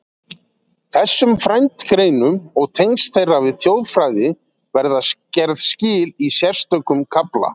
Þessum frændgreinum og tengslum þeirra við þjóðfræði verða gerð skil í sérstökum kafla.